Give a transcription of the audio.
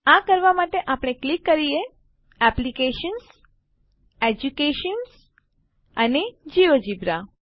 આ કરવા માટે ચાલો ક્લિક કરીએ એપ્લિકેશન્સ એડ્યુકેશન અને જિયોજેબ્રા